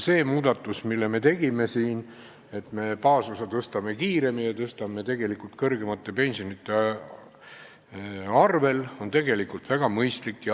See muudatus, mille me tegime siin, et suurendame baasosa kiiremini, tehes seda tegelikult kõrgemate pensionite arvel, on väga mõistlik.